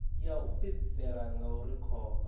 ya u fhedzisela ngauri khomba